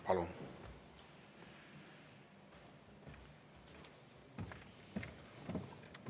Palun!